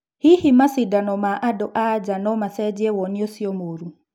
Hihi macindano ma andũ-a-nja nomacenjie woni ũcio mũru?